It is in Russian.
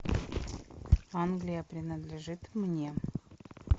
англия принадлежит мне